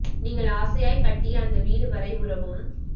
நீங்கள் ஆசையாய் கட்டிய அந்த வீடு வரை உறவும்